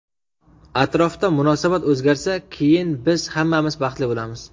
Atrofda munosabat o‘zgarsa, keyin biz hammamiz baxtli bo‘lamiz.